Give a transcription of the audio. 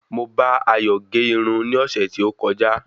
Mo bá Ayo gérun ní ọ̀sẹ̀ tí ó kọjá